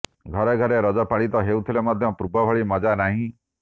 ଘରେ ଘରେ ରଜ ପାଳିତ ହେଉଥିଲେ ମଧ୍ୟ ପୂର୍ବ ଭଳି ମଜା ନାହିଁ